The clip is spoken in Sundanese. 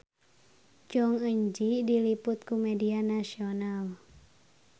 Jong Eun Ji diliput ku media nasional